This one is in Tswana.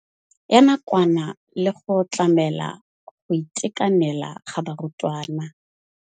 Ya nakwana le go tlamela go itekanela ga barutwana.